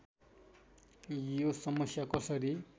यो समस्या कसरी